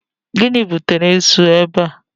Gịnị butere esu a ebe a?